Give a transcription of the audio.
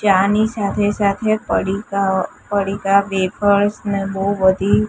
ચાની સાથે સાથે પડીકાઓ પડીકા વેફર્સ ને બો બધી--